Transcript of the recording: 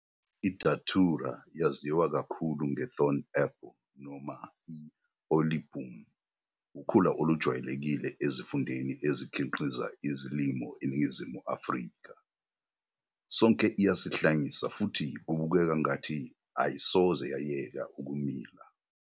I-Datura, yaziwa kakhulu nge'Thorn apple' noma 'i-Olieboom', wukhula olujwayelekile ezifundeni ezikhiqiza izilimo eNingizimu Afrika. Sonke uyasihlanyisa futhi kubukeka kwangathi ayisoze yayeka ukumila.